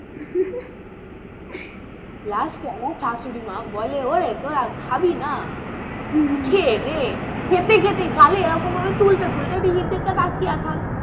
Last আমার শাশুড়িমা বলে ওরে তোরা খাবি না? হম হম খেয়ে নে খেতে-খেতে গালে এ রকম ভাবে তুলতে-তুলতে টিভির দিকে তাকিয়ে থাক,